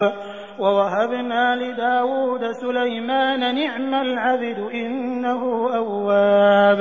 وَوَهَبْنَا لِدَاوُودَ سُلَيْمَانَ ۚ نِعْمَ الْعَبْدُ ۖ إِنَّهُ أَوَّابٌ